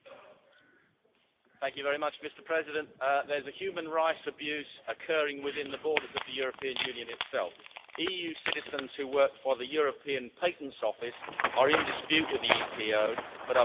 Mr President, there is a human rights abuse occurring within the borders of the European Union itself. EU citizens who work for the European Patents Office are in dispute with the EPO but are being denied legal redress.